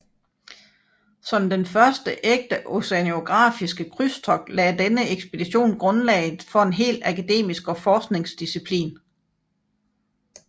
Som den første ægte oceanografiske krydstogt lagde denne ekspedition grundlaget for en hel akademisk og forskningsdisciplin